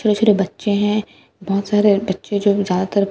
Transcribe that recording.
छोटे छोटे बच्चे हैं बहुत सारे बच्चे जो ज्यादतर लड़के हैं।